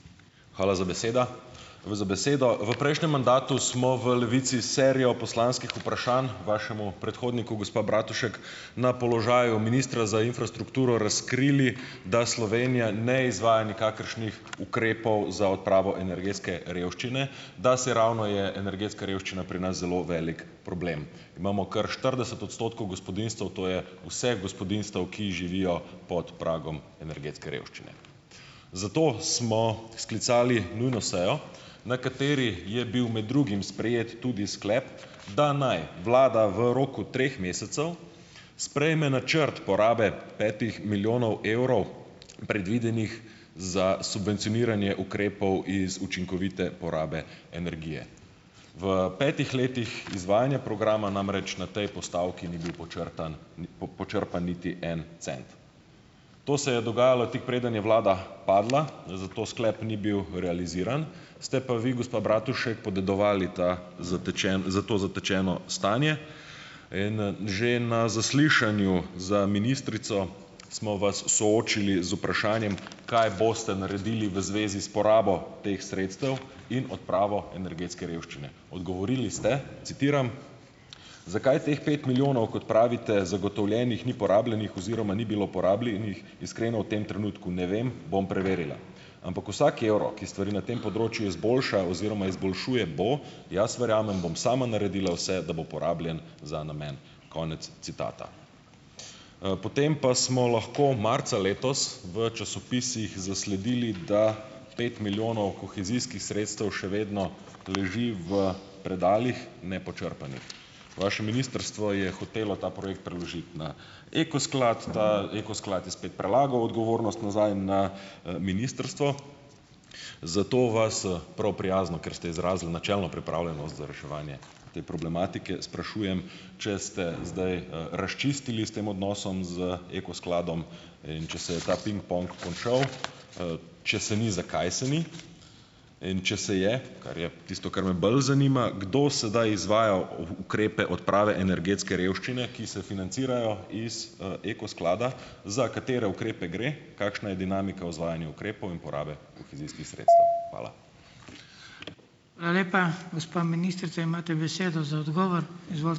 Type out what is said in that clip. Hvala za beseda. V za besedo. V prejšnjem mandatu smo v Levici serijo poslanskih vprašanj vašemu predhodniku, gospa Bratušek, na položaju ministra za infrastrukturo razkrili, da Slovenija ne izvaja nikakršnih ukrepov za odpravo energetske revščine, da se ravno je energetska revščina pri nas zelo veliko problem. Imamo kar štirideset odstotkov gospodinjstev, to je vseh gospodinjstev, ki živijo pod pragom revščine energetske. Zato smo sklicali nujno sejo, na kateri je bil med drugim sprejet tudi sklep, da naj vlada v roku treh mesecev sprejme načrt porabe petih milijonov evrov, predvidenih za subvencioniranje ukrepov iz učinkovite porabe energije. V petih letih izvajanja programa namreč na tej postavki ni bil počrpan niti en cent. To se je dogajalo, tik preden je vlada padla , zato sklep ni bil realiziran, ste pa vi, gospa Bratušek, podedovali ta zatečeni, z to zatečeno stanje. In, že na zaslišanju za ministrico smo vas soočili z vprašanjem, kaj boste naredili v zvezi s porabo teh sredstev in odpravo energetske revščine. Odgovorili ste, citiram: "Zakaj teh pet milijonov, kot pravite, zagotovljenih, ni porabljenih oziroma ni bilo porabljenih, iskreno v tem trenutku ne vem, bom preverila . Ampak vsak evro, ki stvari na tem področju izboljša oziroma izboljšuje, bo, jaz verjamem, bom sama naredila vse , da bo porabljen za namen." Konec citata. potem pa smo lahko marca letos v časopisih zasledili, da pet milijonov kohezijskih sredstev še vedno leži v predalih nepočrpanih. Vaše ministrstvo je hotelo ta projekt preložiti na Eko sklad, ta Eko sklad je spet prelagal odgovornost nazaj na, ministrstvo. Zato vas, prav prijazno, ker ste izrazili načelno pripravljenost za reševanje te problematike, sprašujem, če ste zdaj, razčistili s tem odnosom z Eko skladom? In če se je ta pingpong končal? če se ni, zakaj se ni ? In če se je, kar je, tisto, kar me bolj zanima, kdo sedaj izvaja ukrepe odprave energetske revščine, ki se financirajo iz, Eko sklada, za katere ukrepe gre, kakšna je dinamika o izvajanju ukrepov in porabe kohezijskih sredstev? Hvala.